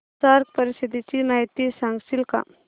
SAARC परिषदेची माहिती सांगशील का